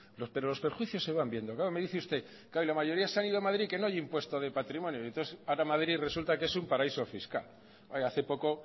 pero los perjuicios se van viendo claro me dice usted la mayoría se han ido a madrid que no hay impuesto de patrimonio y entonces ahora madrid resulta que es un paraíso fiscal hace poco